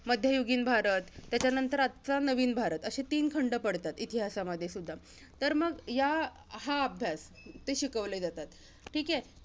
मध्ययुगीन भारत, त्याच्यानंतर आजचा नवीन भारत. असे तीन खंड पडतात, इतिहासामध्ये सुद्धा. तर मग या, हा अभ्यास इथे शिकवले जाता ठीके?